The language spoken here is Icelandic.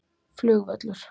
Flugvöllur